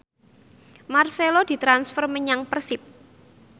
marcelo ditransfer menyang Persib